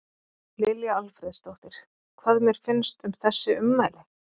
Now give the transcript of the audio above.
Lilja Alfreðsdóttir: Hvað mér finnst um þessi ummæli?